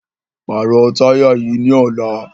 Pàrọ̀ táyà yìí ní ọ̀la!